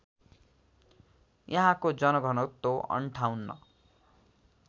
यहाँको जनघनत्व ५८